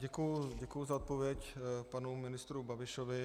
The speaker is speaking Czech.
Děkuji za odpověď panu ministru Babišovi.